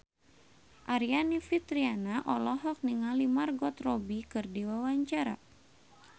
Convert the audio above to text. Aryani Fitriana olohok ningali Margot Robbie keur diwawancara